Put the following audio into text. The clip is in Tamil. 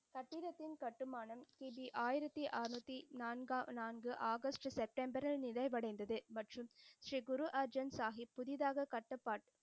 கட்டிடத்தின் கட்டுமானம் கி. பி. ஆயிரத்தி அறநூத்தி நான்கா நான்கு செப்டம்பரில் நிறைவடைந்தது. மற்றும் ஸ்ரீ குரு அர்ஜென் சாஹிப் புதிதாக கட்ட,